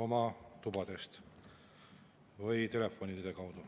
oma tubades või telefonide kaudu!